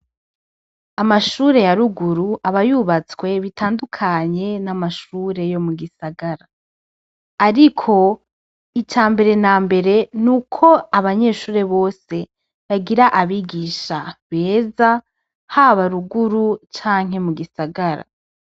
Amashure yaruguru abayubatswe bitandukanye n'amashure yo mu gisagara, ariko ica mbere na mbere ni uko abanyeshure bose bagira abigisha beza ha baruguru canke mu gisagara.